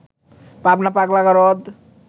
পাবনা পাগলা গারদ